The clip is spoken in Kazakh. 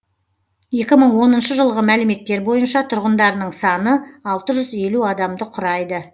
екі мың оныншы жылғы мәліметтер бойынша тұрғындарының саны алты жүз адамды құрайды